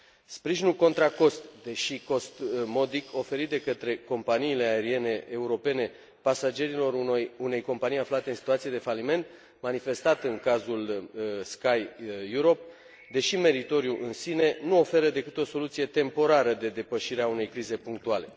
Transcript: Sprijinul contra cost, deși cost modic, oferit de către companiile aeriene europene pasagerilor unei companii aflate în situație de faliment, manifestat în cazul Sky Europe, deși meritoriu în sine, nu oferă decât o soluție temporară de depășire a unei crize punctuale.